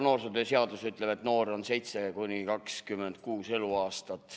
Noorsootöö seadus ütleb, et noor on inimene vanuses 7–26 eluaastat.